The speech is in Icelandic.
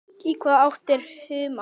Í hvaða átt er humátt?